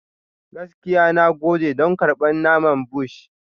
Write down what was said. Gaskiya, na gode don karɓar naman Bush.